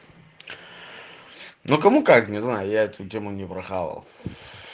ну кому как не знаю я эту тему не прохавал